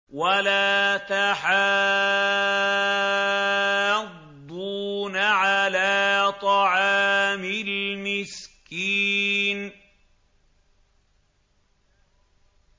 وَلَا تَحَاضُّونَ عَلَىٰ طَعَامِ الْمِسْكِينِ